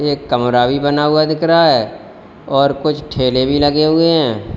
एक कमरा भी बना हुआ दिख रहा है और कुछ ठेले भी लगे हुए हैं।